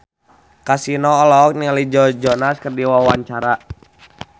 Kasino olohok ningali Joe Jonas keur diwawancara